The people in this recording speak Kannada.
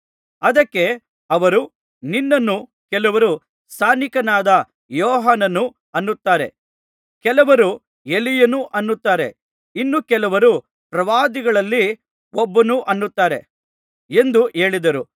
ಅದಕ್ಕೆ ಅವರು ನಿನ್ನನ್ನು ಕೆಲವರು ಸ್ನಾನಿಕನಾದ ಯೋಹಾನನು ಅನ್ನುತ್ತಾರೆ ಕೆಲವರು ಎಲೀಯನು ಅನ್ನುತ್ತಾರೆ ಇನ್ನು ಕೆಲವರು ಪ್ರವಾದಿಗಳಲ್ಲಿ ಒಬ್ಬನು ಅನ್ನುತ್ತಾರೆ ಎಂದು ಹೇಳಿದರು